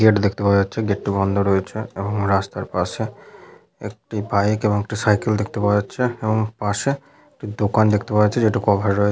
gate দেখতে পাওয়া যাচ্ছে গেট টি বন্ধ রয়েছে এবং রাস্তার পাশে একটি বাইক এবং একটি সাইকেল দেখতে পাওয়া যাচ্ছে এবং পাশে দোকান দেখতে পাওয়া যাচ্ছে যেটি কভার রয়ে --